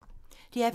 DR P2